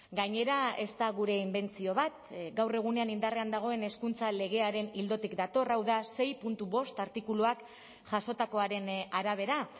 gainera ez da gure inbentzio bat gaur egunean indarrean dagoen hezkuntza legearen ildotik dator hau da sei puntu bost artikuluak jasotakoaren arabera